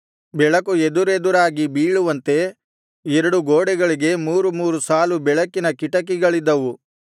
ಬೆಳಕು ಎದುರೆದುರಾಗಿ ಬೀಳುವಂತೆ ಎರಡು ಗೋಡೆಗಳಿಗೆ ಮೂರು ಮೂರು ಸಾಲು ಬೆಳಕಿನ ಕಿಟಕಿಗಳಿದ್ದವು